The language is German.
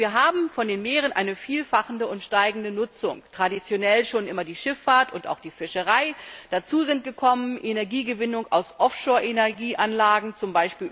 Wir haben von den Meeren eine vielfache und steigende Nutzung traditionell schon immer die Schifffahrt und auch die Fischerei, dazugekommen sind Energiegewinnung aus Offshore Energieanlagen, z.